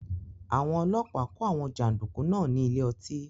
Àwọn ọlọ́pàá kó àwọn jàndùkú náà ní ilé ọtí